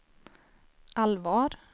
allvar